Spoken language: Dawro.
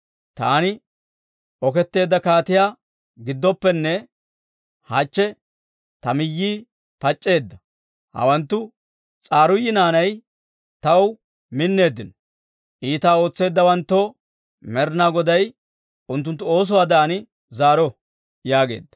Taani oketteedda kaatiyaa gidooppenne, hachche taw miyyii pac'c'eedda. Hawanttu S'aruuyi naanay taw minneeddino; iitaa ootseeddawanttoo Med'inaa Goday unttunttu oosuwaadan zaaro» yaageedda.